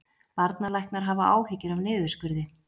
Barnalæknar hafa áhyggjur af niðurskurði